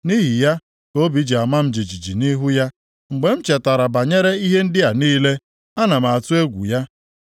Nʼihi ya ka obi ji ama m jijiji nʼihu ya; mgbe m chetara banyere ihe ndị a niile, ana m atụ egwu ya.